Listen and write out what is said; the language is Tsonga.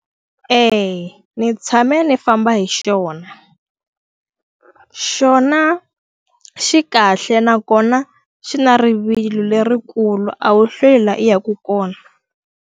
ni tshame ni famba hi xona. Xona xi kahle nakona xi na rivilo lerikulu a wu hlwela i yaka kona.